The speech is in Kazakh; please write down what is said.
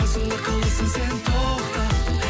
қасымда қаласың сен тоқта